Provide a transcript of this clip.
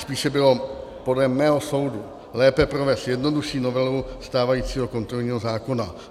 Spíše bylo podle mého soudu lépe provést jednodušší novelu stávajícího kontrolního zákona.